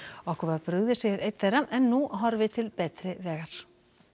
okkur var brugðið segir einn þeirra en nú horfi til betri vegar